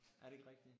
Er det ikke rigtigt?